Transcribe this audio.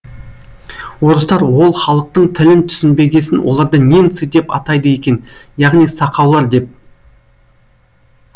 орыстар ол халықтың тілін түсінбегесін оларды немцы деп атайды екен яғни сақаулар деп